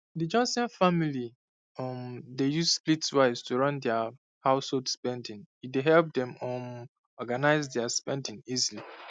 the johnson family um dey use splitwise take run thrie household spendings e dey help dem um organise their spending easily